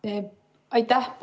Aitäh!